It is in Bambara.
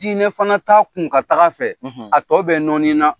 Dinɛ fana. t'a kun ka tag'a fɛ, a tɔ bɛ nɔnina.